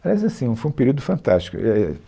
Mas assim, foi um período fantástico, é, é